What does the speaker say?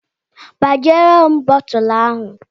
Gbajie m bottulu ahụ.